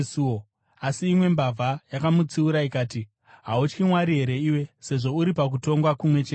Asi imwe mbavha yakamutsiura ikati, “Hautyi Mwari here iwe, sezvo uri pakutongwa kumwe cheteko?